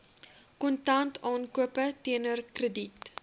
kontantaankope teenoor krediet